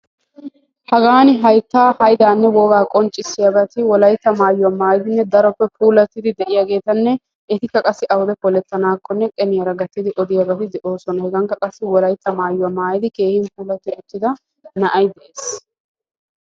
Hagan haytta hayddanne wogaa qonccissiyaabati wolayttaa maayuwa maayyidinne daroppe puulatidi de'iyaageetanne etika qassi awude poletanakkonne qeniyaara gatiddi odiyaabati de'oosona. Hegankka qassi wolaytta maayuwa maayidi keehin puulati uttida na'ay de'ees.